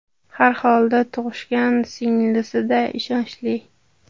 Har holda tug‘ishgan singlisi-da, ishonchli.